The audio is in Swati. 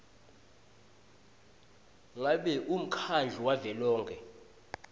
ngabe umkhandlu wavelonkhe